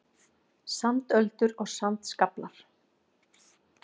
Sandöldur og sandskaflar.